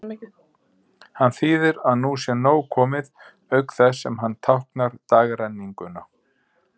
Hann þýðir að nú sé nóg komið, auk þess sem hann táknar dagrenninguna.